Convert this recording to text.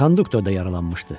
Konduktor da yaralanmışdı.